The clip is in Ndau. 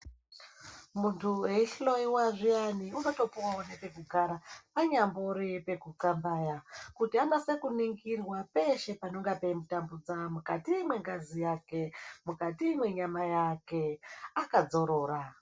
Munthu eihloyiwa zviyani unotopuwawo nepekugara panyambori pekucambaya kuti anase kuningirwa peshe panonga peimutambudza mukati mengazi yake mukati mwenyama yake akadzorora.